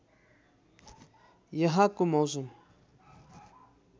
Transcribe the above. यहाँको मौसम